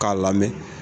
K'a lamɛn